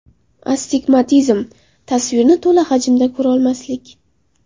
Astigmatizm: tasvirni to‘la hajmda ko‘rolmaslik.